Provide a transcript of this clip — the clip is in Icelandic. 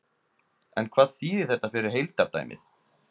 En hvað þýðir þetta fyrir heildardæmið?